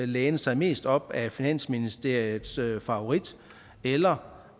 læne sig mest op ad finansministeriets favorit eller